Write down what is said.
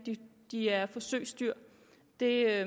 er forsøgsdyr det er